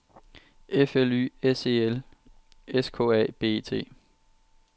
F L Y S E L S K A B E T